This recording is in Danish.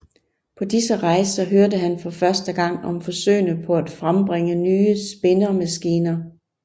På disse rejser hørte han for første gang om forsøgene på at frembringe nye spindemaskiner